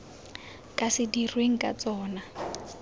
ka se dirweng ka tsona